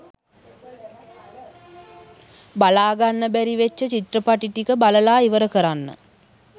බලාගන්න බැරි වෙච්ච චිත්‍රපටි ටික බලලා ඉවර කරන්න.